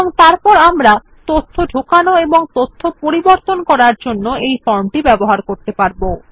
এবং তারপর আমরা ডাটা এন্ট্রি এবং ডাটা আপডেট করার জন্য এই ফর্ম ব্যবহার করতে পারব